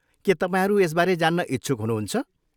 के तपाईँहरू यसबारे जान्न इच्छुक हुनुहुन्छ?